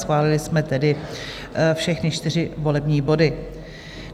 Schválili jsme tedy všechny čtyři volební body.